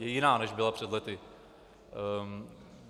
Je jiná, než byla před lety.